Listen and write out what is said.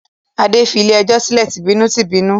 Adé fi ilé-ẹjọ́ sílẹ̀ tìbínú-tìbínú.